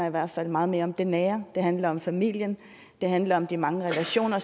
i hvert fald meget mere om det nære det handler om familien det handler om de mange relationer